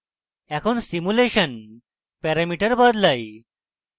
এখন simulation parameter বদলাই